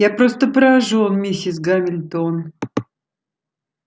я просто поражён миссис гамильтон